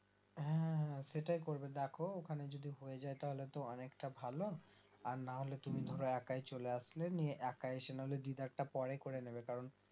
হ্যাঁ হ্যাঁ হ্যাঁ সেটাই করবে দেখো ওখানে যদি হয়ে যায় তাহলে তো অনেকটা ভালো আর নাহলে তুমি ধরো একই চলে আসলে নিয়ে একাই এসে নাহলে দিদারটা পরে করে নেবে কারণ